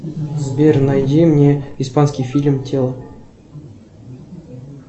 сбер найди мне испанский фильм тело